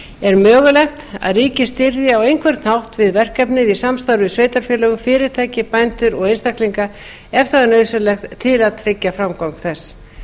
er mögulegt að ríkið styðji á einhvern hátt við verkefnið í samstarfi við sveitarfélög fyrirtæki bændur og einstaklinga ef það er nauðsynlegt til að tryggja framgang þess